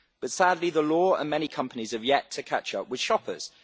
But sadly, the law and many companies have yet to catch up with shoppers.